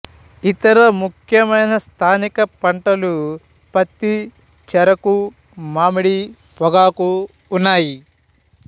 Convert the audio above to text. ఇతర ముఖ్యమైన స్థానిక పంటలు పత్తి చెరకు మామిడి పొగాకు ఉన్నాయి